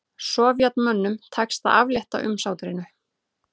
Sovétmönnum tekst að aflétta umsátrinu